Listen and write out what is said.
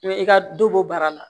Mɛ i ka dɔ bɔ baara la